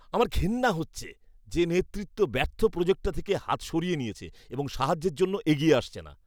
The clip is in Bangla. আমার ঘেন্না হচ্ছে যে নেতৃত্ব ব্যর্থ প্রোজেক্টটা থেকে হাত সরিয়ে নিয়েছে এবং সাহায্যের জন্য এগিয়ে আসছে না।